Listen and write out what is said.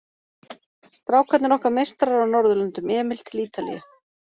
Strákarnir okkar meistarar á norðurlöndum, Emil til Ítalíu.